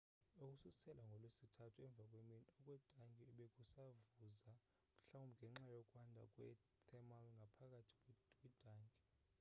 ukususela ngolwesithathu emva kwemini okwetanki bekusavuza mhlawumbi ngenxa yokwanda kwe thermal ngaphakathi kwintanki